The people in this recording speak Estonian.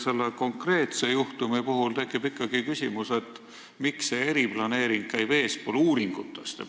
Selle konkreetse juhtumi puhul tekib küsimus, miks käib eriplaneering uuringutest eespool.